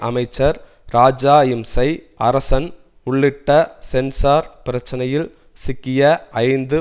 அமைச்சர் ராஜாஇம்சை அரசன் உள்ளிட்ட சென்ஸார் பிரச்சனையில் சிக்கிய ஐந்து